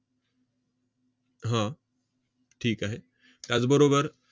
हा, ठीक आहे. त्याचबरोबर